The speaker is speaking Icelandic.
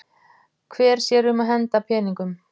Hver sér um að henda peningum?